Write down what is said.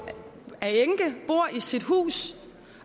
bor i sit eget hus